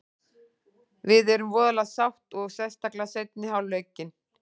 Við erum voðalega sátt og sérstaklega seinni hálfleikinn.